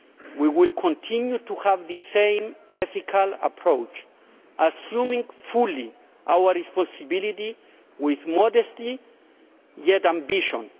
We will continue to have the same ethical approach assuming fully our responsibility with modesty yet ambition